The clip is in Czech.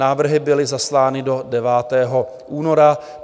Návrhy byly zaslány do 9. února.